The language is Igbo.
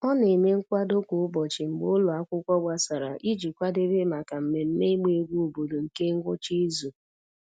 Ọ na-eme nkwado kwa ụbọchị mgbe ụlọ akwụkwọ gbasara iji kwadebe maka mmemme ịgba egwu obodo nke ngwụcha izu.